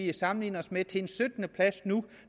vi sammenligner os med til en syttendeplads nu